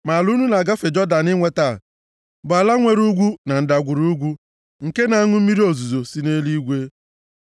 Ma ala unu na-agafe Jọdan inweta bụ ala nwere ugwu na ndagwurugwu, nke na-aṅụ mmiri ozuzo si nʼeluigwe.